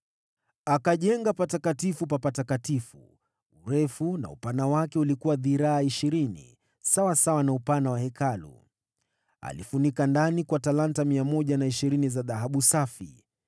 Akajenga Patakatifu pa Patakatifu, urefu na upana wake ulikuwa dhiraa ishirini, sawasawa na upana wa Hekalu. Alifunika ndani kwa talanta 120 za dhahabu safi.